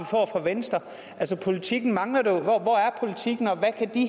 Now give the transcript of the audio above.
får fra venstre altså politikken mangler jo hvor er politikken og